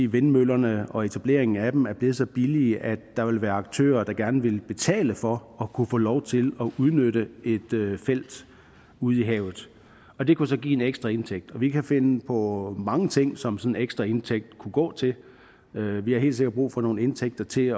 vindmøllerne og etableringen af dem er blevet så billige at der vil være aktører der gerne vil betale for at kunne få lov til at udnytte et felt ude i havet og det kunne så give en ekstra indtægt og vi kan finde på mange ting som sådan en ekstra indtægt kunne gå til vi vi har helt sikkert brug for nogle indtægter til